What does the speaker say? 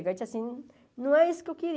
Aí eu disse assim, não é isso que eu